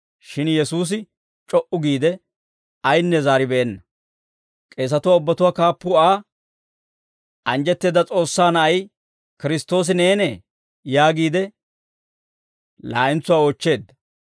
Shin Yesuusi c'o"u giide, ayinne zaaribeenna; k'eesatuwaa ubbatuwaa kaappuu Aa, «Anjjetteedda S'oossaa Na'ay Kiristtoosi neenee?» yaagiide laa'entsuwaa oochcheedda.